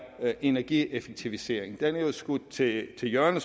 energieffektivisering det er jo skudt til hjørne